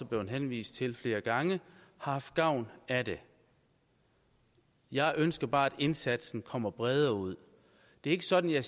blevet henvist til flere gange har haft gavn af det jeg ønsker bare at indsatsen kommer bredere ud det er ikke sådan at